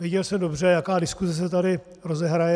Věděl jsem dobře, jaká diskuse se tady rozehraje.